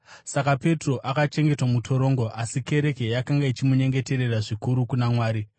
Saka Petro akachengetwa mutorongo, asi kereke yakanga ichimunyengeterera zvikuru kuna Mwari.